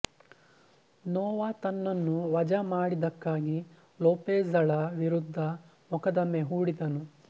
ನೊವಾ ತನ್ನನ್ನು ವಜಾ ಮಾಡಿದ್ದಕ್ಕಾಗಿ ಲೋಪೆಜ಼ಳ ವಿರುದ್ಧ ಮೊಕದಮೆ ಹೂಡಿದನು